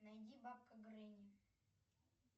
найди бабка гренни